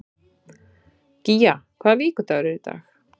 Gía, hvaða vikudagur er í dag?